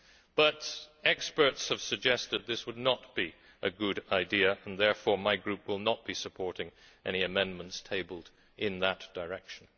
But experts have suggested this would not be a good idea, and therefore my group will not be supporting any amendments tabled in that direction.